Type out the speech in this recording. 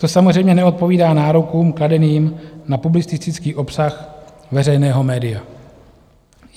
To samozřejmě neodpovídá nárokům kladeným na publicistický obsah veřejného média.